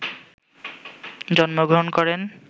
জন্মগ্র্রহণ করেন